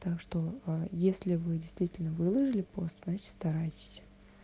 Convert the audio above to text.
так что а если вы действительно выложили пост значит старайтесь